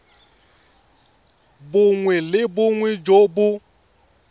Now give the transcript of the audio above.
bongwe le bongwe jo bo